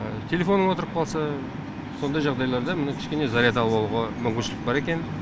телефон отырып қалса сондай жағдайларда міне кішкене заряд алып алуға мүмкіншілік бар екен